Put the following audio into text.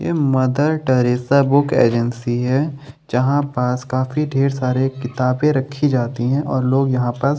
यह Mother Teresa book agency है जहाँ पास काफ़ी ढेर सारे किताबें रखी जाती है और लोग यहाँ पास --